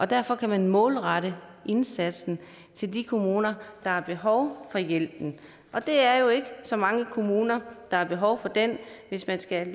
derfor kan man målrette indsatsen til de kommuner der har behov for hjælpen og det er jo ikke så mange kommuner der er behov for den hvis man skal